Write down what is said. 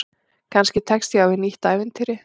Kannski tekst ég á við nýtt ævintýri.